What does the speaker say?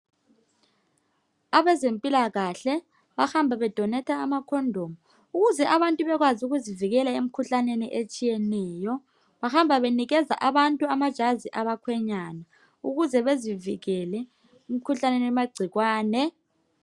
Abezempilakahle bahamba bedonetha ama condom ukuze abantu bekwazi ukuzivikela emkhuhlaneni etshiyeneyo. Bahamba benika. abantu amajazi abakhwenyana ukuze bezivikele imikhuhlane elamagcikwane